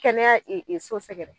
Kɛnɛya so sɛgɛrɛ